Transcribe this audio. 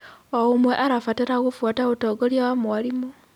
O ũmwe arabatara gũbuata ũtongoria wa mwarimũ.